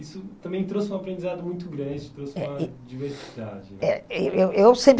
Isso também trouxe um aprendizado muito grande, trouxe uma diversidade. É eh é eu eu eu sempre